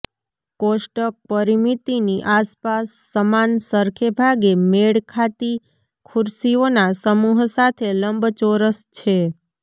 કોષ્ટક પરિમિતિની આસપાસ સમાન સરખે ભાગે મેળ ખાતી ખુરશીઓના સમૂહ સાથે લંબચોરસ છે